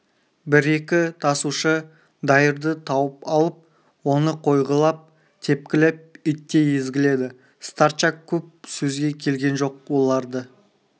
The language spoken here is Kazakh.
бір-екі тасушы дайырды тауып алып оны қойғылап тепкілеп иттей езгіледі старчак көп сөзге келген жоқ оларды